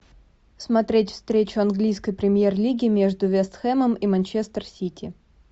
смотреть встречу английской премьер лиги между вест хэмом и манчестер сити